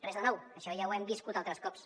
res de nou això ja ho hem viscut altres cops